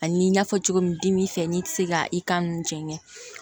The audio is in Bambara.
Ani n y'a fɔ cogo min dimi fɛ n'i tɛ se ka i kan ninnu jɛngɛ